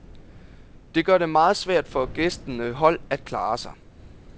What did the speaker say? Det gør det meget svært for gæstende hold at klare sig.